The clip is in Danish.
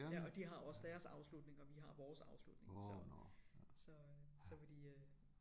Ja og de har også deres afslutning og vi har vores afslutning så så øh så vil de øh